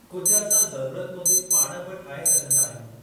कुझु असां ज़रूरत मूजिबि पाण बि ठाहे सघंदा आहियूं।